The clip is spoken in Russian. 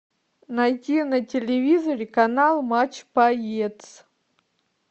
найти на телевизоре канал матч боец